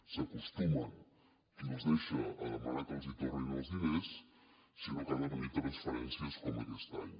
acostuma qui els deixa a demanar que els tornin els diners sinó que han de venir transferències com aquest any